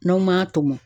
N'aw ma tɔmɔ